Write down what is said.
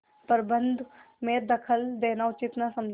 प्रबंध में दखल देना उचित न समझा